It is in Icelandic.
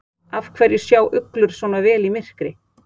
Af hverju sjá uglur svona vel í myrkri?